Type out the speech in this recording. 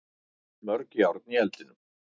Mörg járn í eldinum